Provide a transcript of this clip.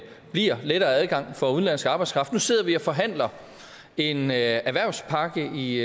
bliver lettere adgang for udenlandsk arbejdskraft nu sidder vi og forhandler en erhvervspakke i